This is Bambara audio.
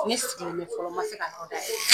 Ne sigilen bɛ fɔlɔ, n ma se ka yɔrɔ dayɛlɛ.